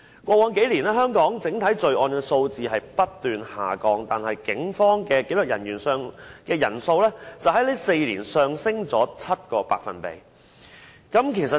過去數年，香港整體罪案數字不斷下降，但警方的紀律人員人數在4年內上升了 7%。